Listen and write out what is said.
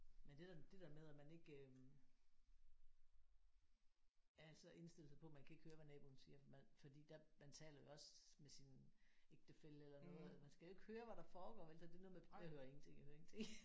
Men det der det der med at man ikke øh altså indstille sig på man kan ikke høre hvad naboen siger for man fordi der man taler jo også med sin ægtefælle eller noget altså man skal jo ikke høre hvad der foregår vel så det er noget med jeg hører ingenting jeg hører ingenting